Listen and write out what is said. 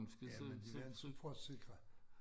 Jamen de vil altid prøve at sikre